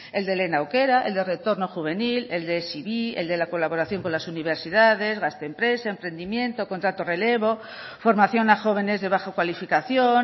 el de lehen aukera el de retorno juvenil el de el de la colaboración con las universidades gazte empresa emprendimiento contrato relevo formación a jóvenes de bajo cualificación